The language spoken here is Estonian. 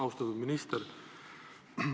Austatud minister!